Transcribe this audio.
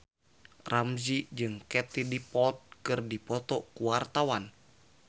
Ramzy jeung Katie Dippold keur dipoto ku wartawan